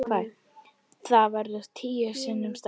Þetta verður tíu sinnum stærra.